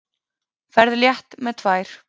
Ferð létt með tvær.